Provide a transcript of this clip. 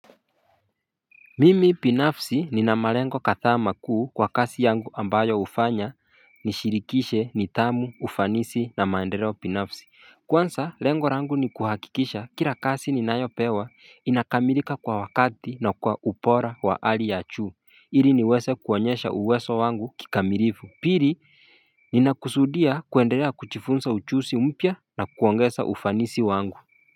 Mimi binafsi ninamalengo kadhaa makuu kwa kasi yangu ambayo hufanya nishirikishe nidhamu ufanisi na maendeleo binafsi Kwansa lengo rangu ni kuhakikisha kila kasi ninayopewa inakamilika kwa wakati na kwa ubora wa ali ya juu ili niweze kuonyesha uweso wangu kikamilifu Piri ninakusudia kuwendelea kujifunsa uchusi mpya na kuongesa ufanisi wangu.